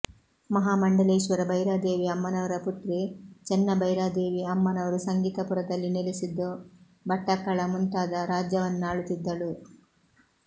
ಮಹಾಮಂಡಲೇಶ್ವರ ಭೈರಾದೇವಿ ಅಮ್ಮನವರ ಪುತ್ರಿ ಚೆನ್ನಭೈರಾದೇವಿ ಅಮ್ಮನವರು ಸಂಗೀತಪುರದಲ್ಲಿ ನೆಲೆಸಿದ್ದು ಬಟ್ಟಕಳ ಮುಂತಾದ ರಾಜ್ಯವನ್ನಾಳುತ್ತಿದ್ದಳು